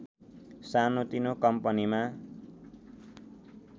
सानोतिनो कम्पनीमा